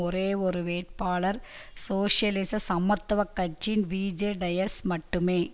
ஒரே ஒரு வேட்பாளர் சோசியலிச சமத்துவ கட்சியின் விஜே டயஸ் மட்டுமே